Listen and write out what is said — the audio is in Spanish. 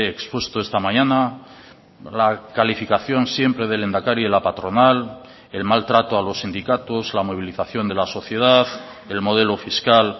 he expuesto esta mañana la calificación siempre del lehendakari y la patronal el mal trato a los sindicatos la movilización de la sociedad el modelo fiscal